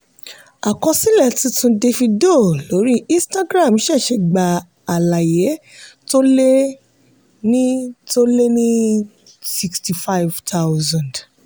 àkọsílẹ̀ tuntun davido lórí instagram ṣẹ̀ṣẹ̀ gba àlàyé tó lé ní tó lé ní 65000.